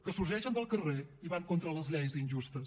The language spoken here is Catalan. que sorgeixen del carrer i van contra les lleis injustes